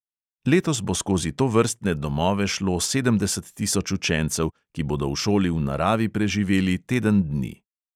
Letos bo skozi tovrstne domove šlo sedemdeset tisoč učencev, ki bodo v šoli v naravi preživeli teden dni.